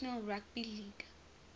national rugby league